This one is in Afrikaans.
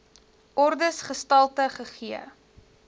ordes gestalte gegee